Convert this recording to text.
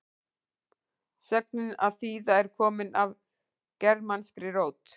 sögnin að þýða er komin af germanskri rót